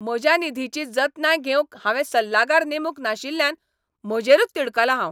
म्हज्या निधीची जतनाय घेवंक हांवें सल्लागार नेमूंक नाशिल्ल्यान म्हजेरूच तिडकलां हांव.